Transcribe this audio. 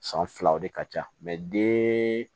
San filaw de ka ca den